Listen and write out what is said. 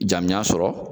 Jamujan sɔrɔ